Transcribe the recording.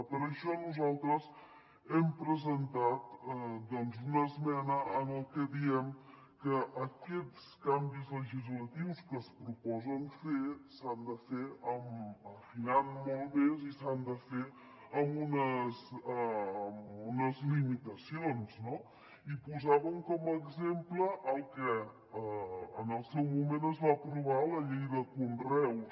per això nosaltres hem presentat doncs una esmena en la que diem que aquests canvis legislatius que es proposen fer s’han de fer afinant molt més i s’han de fer amb unes limitacions no i posàvem com a exemple el que en el seu moment es va aprovar a la llei de conreus